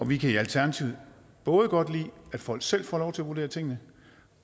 vi kan i alternativet både godt lide at folk selv får lov til at vurdere tingene